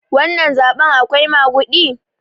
wannan zaɓen akwai magudi?